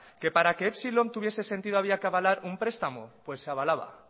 que para que epsilon tuviese sentido había que avalar un prestamo pues se avalaba